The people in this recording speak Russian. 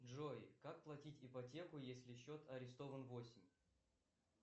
джой как платить ипотеку если счет арестован восемь